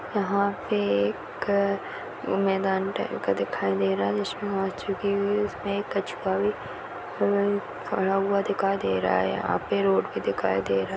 यहाँ पे एक मैदान टाइप का दिखाई दे रहा हैं जिसमें इसमें कछुवा भी हम्म खड़ा हुआ दिखाई दे रहा हैं यहाँ पे रोड भी दिखाई दे--